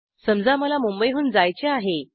समजा मला मुंबईहून जायचे आहे